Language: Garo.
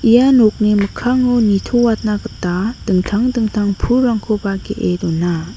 ia nokni mikkango nitoatna gita dingtang dingtang pulrangkoba ge·e dona.